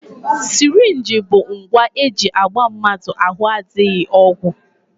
Sirinji bụ ngwa e ji agba mmadụ ahụ adịghị ọgwụ